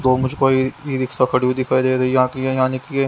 दो मुझको ए ई रिक्शा खड़ी हुई दिखाई दे यहां की है यानि की--